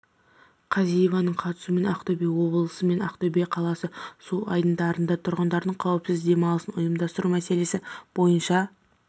казиеваның қатысуымен ақтөбе облысы мен ақтөбе қаласы су айдындарында тұрғындардың қауіпсіз демалысын ұйымдастыру мәселесі бойынша